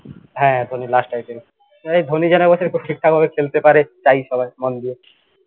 হ্যাঁ Dhoni last IPL এই ধনি যেন এবছর খুব ঠিকঠাক ভাবে খেলতে পারে চাই সবায় মন দিয়ে